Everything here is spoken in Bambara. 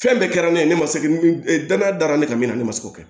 Fɛn bɛɛ kɛra ne ye ne ma se danaya da ne kan min na ne ma se k'o kɛ